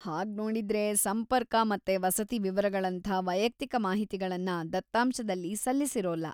ಹಾಗ್ನೋಡಿದ್ರೆ, ಸಂಪರ್ಕ ಮತ್ತೆ ವಸತಿ ವಿವರಗಳಂಥಾ ವೈಯಕ್ತಿಕ ಮಾಹಿತಿಗಳನ್ನ ದತ್ತಾಂಶದಲ್ಲಿ ಸಲ್ಲಿಸಿರೋಲ್ಲ.